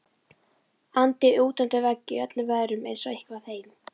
andi útundir vegg í öllum veðrum eins og eitthvað heim